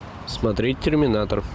смотреть терминатор